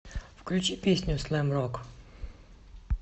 включи песню слэм рок